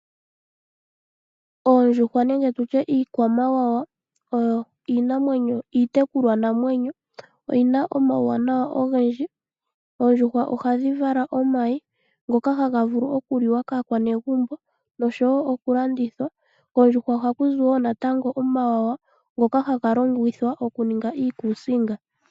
Oondjuhwa nenge tutye iikwamawawa oyo iitekulwa namwenyo no yina omauwanawa ogendji. Oondjuhwa ohadhi vala omayi ngoka haga vulu okuliwa kaakwanegumbo nosho woo okulandithwa, koondjuhwa ohakuzi woo natango omawawa ngoka haga longithwa okuninga iikusinga.